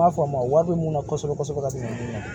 N b'a f'a ma wari bɛ mun na kosɛbɛ kosɛbɛ ka tɛmɛ